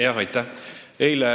Jah, aitäh!